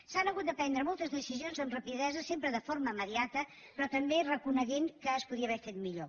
s’han hagut de prendre moltes decisions amb rapidesa sempre de forma immediata però també reconeixent que es podia haver fet millor